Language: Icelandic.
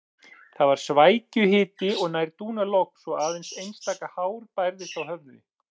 Það var svækjuhiti og nær dúnalogn svo aðeins einstaka hár bærðist á höfði.